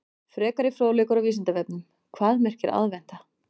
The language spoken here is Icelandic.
Frekari fróðleikur á Vísindavefnum: Hvað merkir aðventa?